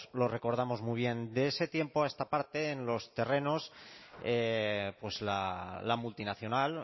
lo recordamos muy bien de ese tiempo a esta parte en los terrenos la multinacional